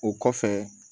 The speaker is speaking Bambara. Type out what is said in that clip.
O kɔfɛ